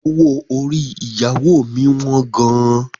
Owó orí ìyàwó mi wọ́n gan.